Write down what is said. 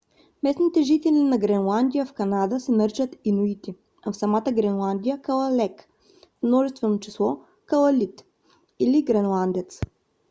местните жители на гренландия в канада се наричат инуити а в самата гренландия калалек в множествено число калалит или гренландец